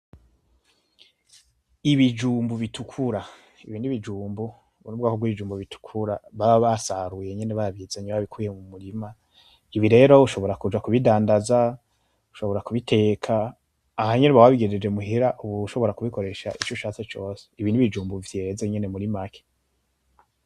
Ibijumbu bitukura: Ibi ni ibijumbu, ubu ni ubwoko bw'ibijumbu baba basaruye nyene babizanye babikuye mu murima. Ibi rero ushobora kubidandaza, ushobora kubiteka. Aha nyene uba wabigejeje muhira ushobora kubikoresha ico ushatse cose. Ibi ni ibijumbu vyeze nyene muri make.